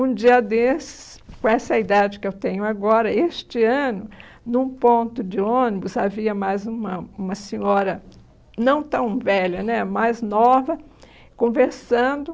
Um dia desses, com essa idade que eu tenho agora, este ano, num ponto de ônibus, havia mais uma uma senhora não tão velha né, mais nova, conversando.